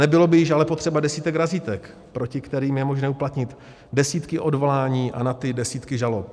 Nebylo by již ale potřeba desítek razítek, proti kterým je možné uplatnit desítky odvolání a na ty desítky žalob.